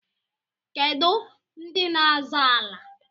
Kedụ ndị n'azọ ala?